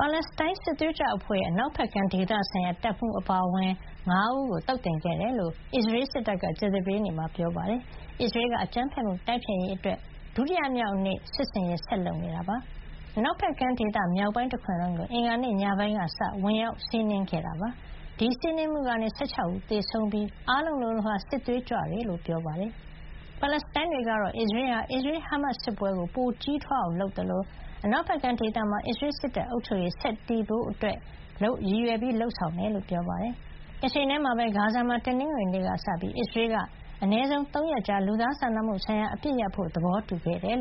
ပါလက်စတိုင်းစစ်သွေးကြွအဖွဲ့ရဲ့ အနောက်ဖက်ကမ်းဒေသဆိုင်ရာ တပ်မှူးအပါအဝင် ၅ ဦးကို သုတ်သင်ခဲ့တယ်လို့အစ္စရေးစစ်တပ်က ကြာသပတေးနေ့မှာ ပြောပါတယ်။ အစ္စရေးက အကြမ်းဖက်မှုတိုက်ဖျက်ရေးအတွက် ဒုတိယမြောက်နေ့အဖြစ် စစ်ဆင်ရေးဆက်လုပ်နေတာဖြစ်ပြီးအနောက်ဖက်ကမ်းဒေသ မြောက်ပိုင်းတခွင်လုံးကို အင်္ဂါနေ့ညပိုင်းကစတင်ပြီး ဝင်ရောက်စီးနင်းခဲ့တယ်လို့ ပြောပါတယ်။ ဒီစီးနင်းမှုကနေ ၁၆ ဦးသေဆုံးခဲ့ပြီး အားလုံး လိုလိုဟာ စစ်သွေးကြွတွေဖြစ်ကြောင်း ပြောပါတယ်။ ပါလက်စတိုင်းတွေကတော့ အစ္စရေးဟာ ၁၀ လခွဲကြာလာပြီဖြစ်တဲ့ အစ္စရေး-ဟာမတ်စ် စစ်ပွဲကို ပိုကြီးထွားလာအောင် လုပ်နေသလို အနောက်ဖက်ကမ်းဒေသမှာ အစ္စရေးစစ်တပ်အုပ်ချုပ်ရေး ဆက်တည်မြဲဖို့ ရည်ရွယ်လုပ်ဆောင် နေတယ်လို့ ပြောပါတယ်။ တချိန်တည်းမှာပဲ အစ္စရေးက ဂါဇာမှာ တနင်္ဂနွေနေ့ကစပြီး အနည်းဆုံး ၃ ရက် လူသားစာနာမှုဆိုင်ရာအပစ်ရပ်ဖို့သဘောတူခဲ့ကြောင်း